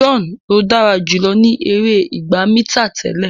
John ló dára jùlọ ní èrè ìgbà mítà tẹlẹ.